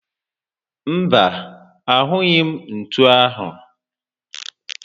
Mba, ahụghị m ntú áhụ̀